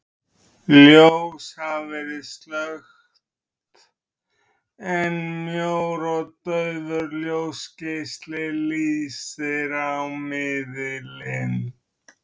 Ljós hafa verið slökkt, en mjór og daufur ljósgeisli lýsir á miðilinn.